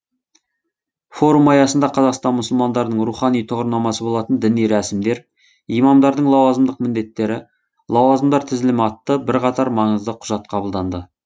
форум аясында қазақстан мұсылмандарының рухани тұғырнамасы болатын діни рәсімдер имамдардың лауазымдық міндеттері лауазымдар тізілімі атты бірқатар маңызды құжат қабылданды